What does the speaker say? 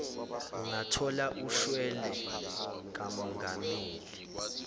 ungathola ushwele kamongameli